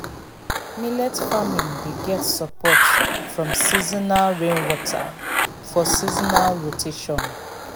millet farming dey get support from seasonal rainwater for seasonal rotation.